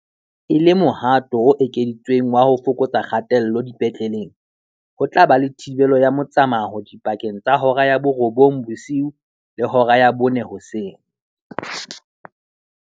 E le mohato o ekeditsweng wa ho fokotsa kgatello dipetleleng, ho tla ba le thibelo ya motsamao dipakeng tsa hora ya borobong bosiu le hora ya bone hoseng.